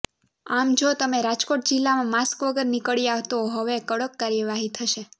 આમ જો તમે રાજકોટ જિલ્લામાં માસ્ક વગર નીકળ્યાં તો હવે કડક કાર્યવાહી થશે